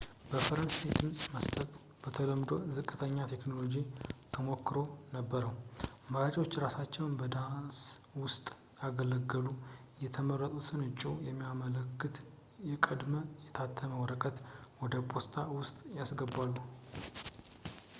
በፈረንሳይ ድምጽ መስጠት በተለምዶ ዝቅተኛ የቴክኖሎጂ ተሞክሮ ነበረው፥ መራጮች እራሳቸውን በዳስ ውስጥ ያገለሉ ፣ የመረጡትን እጩ የሚያመለክት ቀድሞ-የታተመ ወረቀት ወደ ፖስታ ውስጥ ያስገባሉ